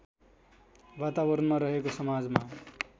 वातावरणमा रहेको समाजमा